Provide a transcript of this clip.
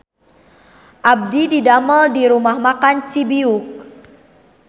Abdi didamel di Rumah Makan Cibiuk